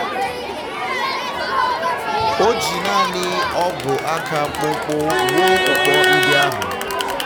o ji nanị ọgụ aka mkpụmkpụ wuo ukpo ndi ahụ.